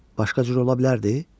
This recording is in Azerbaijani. Başqa cür ola bilərdi?